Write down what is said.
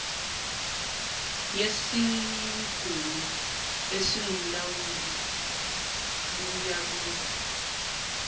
yesigungu esingumlawuli kuyakuba